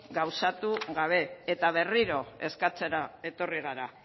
gauzatu gabe eta berriro eskatzera etorri gara